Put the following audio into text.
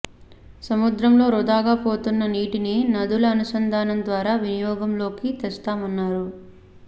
సముద్రంలోకి వృథాగా పోతున్న నీటిని నదుల అనుసంధానం ద్వారా వినియోగంలోకి తెస్తామన్నారు